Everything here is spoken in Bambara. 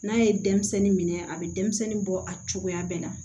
N'a ye denmisɛnnin minɛ a bɛ denmisɛnnin bɔ a cogoya bɛɛ la